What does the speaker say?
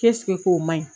k'o ma ɲi